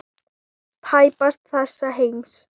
Tæpast þessa heims.